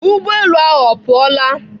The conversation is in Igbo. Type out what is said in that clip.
Ụgbọelu ahụ ọ pụọla?